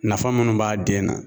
Nafa munnu b'a den na